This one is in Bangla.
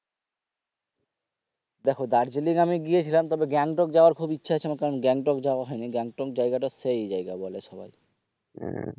দেখো দার্জিলিং আমি গিয়েছিলাম তবে গ্যাংটক যাওয়ার খুব ইচ্ছে আছে আমার কারন গ্যাংটক যাওয়া হয়নি গ্যাংটক জায়গা টা সেই জায়গা বলে সবাই হম